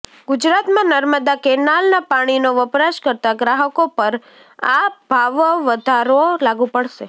ગુજરાતમાં નર્મદા કેનાલના પાણીનો વપરાશ કરતા ગ્રાહકો પર આ ભાવવધારો લાગુ પડશે